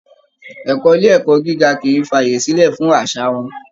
Ẹ̀kọ́ ilé ẹ̀kọ́ gíga kì í fi àyè sílẹ̀ fún àṣà wa